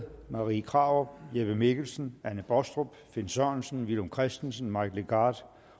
marie krarup jeppe mikkelsen anne baastrup finn sørensen villum christensen mike legarth